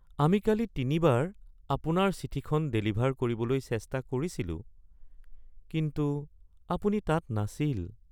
আমি কালি তিনিবাৰ আপোনাৰ চিঠিখন ডেলিভাৰ কৰিবলৈ চেষ্টা কৰিছিলোঁ, কিন্তু আপুনি তাত নাছিল (কুৰিয়াৰ)